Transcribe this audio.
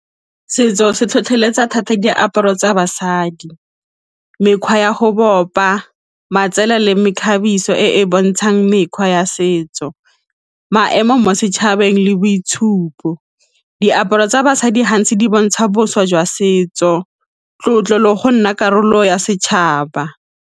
Setso se tlhotlheletsa thata diaparo tsa basadi, mekgwa ya go bopa matsela le mekgabiso e e bontshang mekgwa ya setso, maemo mo setšhabeng le boitshupo, diaparo tsa basadi gantsi di bontsha boswa jwa setso, tlotlo le go nna karolo ya setšhaba.